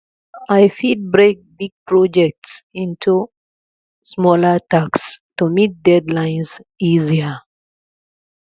i fit break big projects into smaller tasks to meet deadlines easier